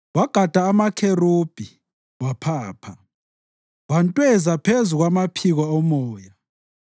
Wagada amakherubhi waphapha; wantweza phezu kwamaphiko omoya.